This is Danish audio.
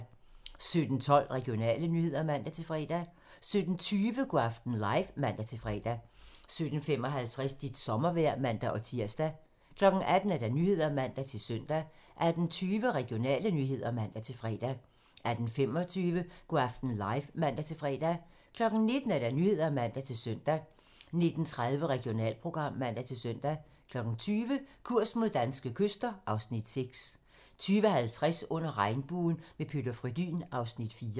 17:12: Regionale nyheder (man-fre) 17:20: Go' aften live (man-fre) 17:55: Dit sommervejr (man-tir) 18:00: Nyhederne (man-søn) 18:20: Regionale nyheder (man-fre) 18:25: Go' aften live (man-fre) 19:00: Nyhederne (man-søn) 19:30: Regionalprogram (man-søn) 20:00: Kurs mod danske kyster (Afs. 6) 20:50: Under regnbuen - med Peter Frödin (Afs. 4)